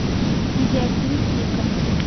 видеофильм флика